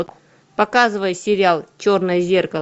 показывай сериал черное зеркало